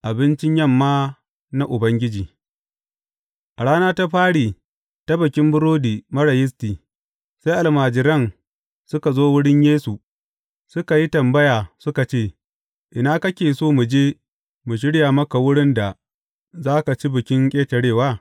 Abincin yamma na Ubangiji A rana ta fari ta Bikin Burodi Marar Yisti, sai almajiran suka zo wurin Yesu suka yi tambaya suka ce, Ina kake so mu je mu shirya maka wurin da za ka ci Bikin Ƙetarewa?